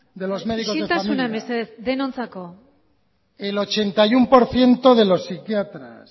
de los médicos de familia isiltasuna mesedez denontzako el ochenta y uno por ciento de los psiquiatras